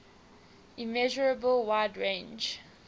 immeasurable wide range